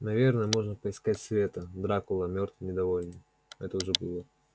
наверное можно поискать света дракула мёртвый недовольный это уже было